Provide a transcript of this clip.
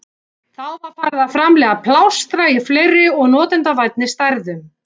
Þá var farið að framleiða plástra í fleiri og notendavænni stærðum.